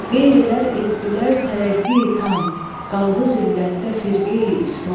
Qeyrilər etdilər tərəqqi tam, qaldı zillətdə firqeyi-islam.